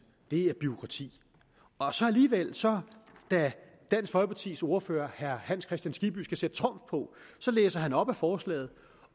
det er bureaukrati og så alligevel da dansk folkepartis ordfører herre hans kristian skibby skal sætte trumf på så læser han op af forslaget